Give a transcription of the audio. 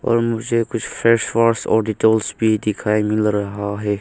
और मुझे कुछ फेस वॉश और डेटॉल भी दिखाई मिल रहा है।